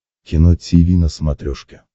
кино тиви на смотрешке